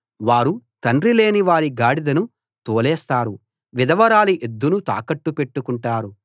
వారు తండ్రి లేని వారి గాడిదను తోలేస్తారు విధవరాలి ఎద్దును తాకట్టు పెట్టుకుంటారు